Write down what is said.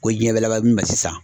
Ko diɲɛ bɛ laban min ma sisan.